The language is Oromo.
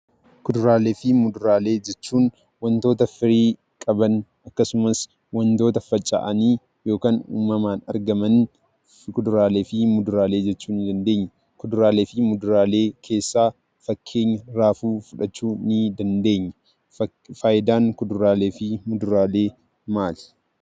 Kuduraaleefi muduraalee jechuun; wantoota firii qaban akkasumas, wantoota facaa'ani ykn uumamaan argamankuduraaleefi muduraalee jechuu ni dandeenyaa. kuduraaleefi muduraalee keessa fakkeenya, raafuu fudhaachu ni dandeenyaa. Faayidaan kuduraaleefi muduraalee maali?